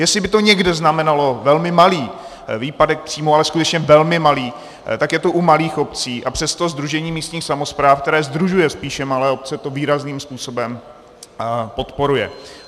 Jestli by to někde znamenalo velmi malý výpadek příjmů, ale skutečně velmi malý, tak je to u malých obcí, a přesto Sdružení místních samospráv, které sdružuje spíše malé obce, to výrazným způsobem podporuje.